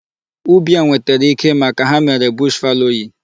Ubi a nwetere ike maka ha mere bush fallowing.